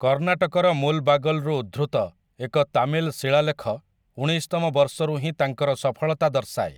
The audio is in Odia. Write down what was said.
କର୍ଣ୍ଣାଟକର ମୁଲବାଗଲରୁ ଉଦ୍ଧୃତ ଏକ ତାମିଲ ଶିଳାଲେଖ ଉଣେଇଶତମ ବର୍ଷରୁ ହିଁ ତାଙ୍କର ସଫଳତା ଦର୍ଶାଏ ।